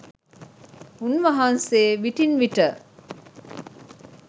උන් වහන්සේ විටින් විට